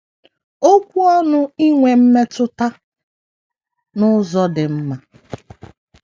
Okwu ọnụ inwe mmetụta n’ụzọ dị mma.